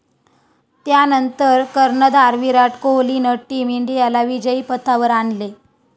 त्यानंतर कर्णधार विराट कोहलीनं टीम इंडियाला विजयी पथावर आणले.